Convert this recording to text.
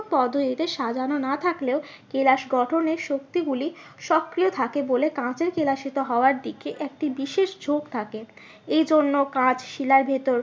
পদ্ধতিতে সাজানো না থাকলেও কেলাস গঠনের শক্তি গুলি সক্রিয় থাকে বলে কাঁচে কেলাসিত হওয়ার দিকে একটি বিশেষ থাকে এই জন্য কাঁচ শিলার ভেতর